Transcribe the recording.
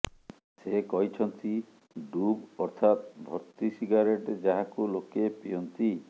ସେ କହିଛନ୍ତି ଡୁବ୍ ଅର୍ଥାତ ଭର୍ତ୍ତି ସିଗାରେଟ୍ ଯାହାକୁ ଲୋକେ ପିଅନ୍ତି